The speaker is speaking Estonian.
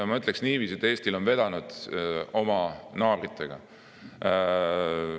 Ma ütleksin niiviisi, et Eestil on vedanud oma naabritega.